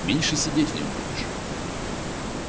меньше сидеть в нем будешь